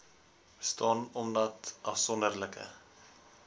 bestaan omdat afsonderlike